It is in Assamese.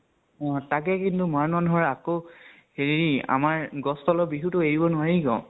উম । তাতে কিন্তু, মৰান মানুহ ৰ আকৌ হেৰি আমাৰ গছ তলৰ বিহুতো এৰিব নোৱাৰি ন ?